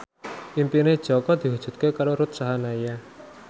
impine Jaka diwujudke karo Ruth Sahanaya